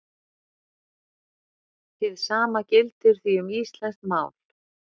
Hið sama gildir því um íslenskt mál.